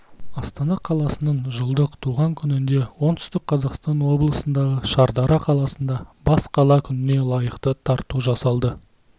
астана қаласының жылдық туған күнінде оңтүстік қазақстан облысындағы шардара қаласында бас қала күніне лайықты тарту жасалды